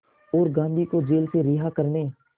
और गांधी को जेल से रिहा करने